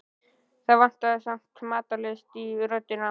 Það vantaði samt matarlyst í röddina.